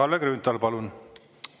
Kalle Grünthal, palun!